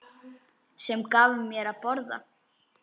Sem gaf mér að borða.